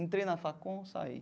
Entrei na facul, saí.